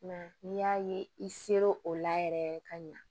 N'i y'a ye i ser'o o la yɛrɛ ka ɲa